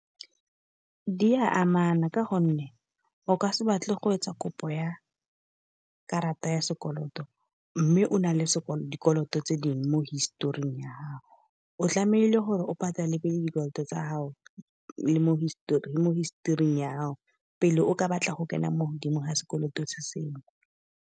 Di a amana ka gonne o ka se batle go etsa kopo ya karata ya sekoloto, mme o nale dikoloto tse dingwe mo historing ya gago. O tlamehile gore o patale pele dikoloto tsa gago, le mo mo historing ya pele o ka batla go kena mo godimo ga sekoloto se sengwe.